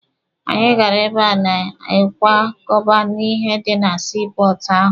Anyị gara ebe a na-ekwakọba ihe dị na sii pọọtụ ahụ.